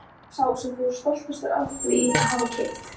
Hver er sá sem þú ert stoltastur af því að hafa keypt?